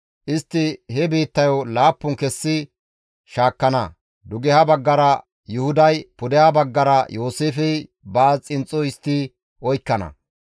Istti he biittayo laappun kessi shaakkana. Dugeha baggara Yuhuday, pudeha baggara Yooseefey baas xinxxo histti oykkana.